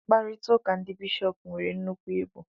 Mkparịta ụka ndị bishọp nwere nnukwu ibu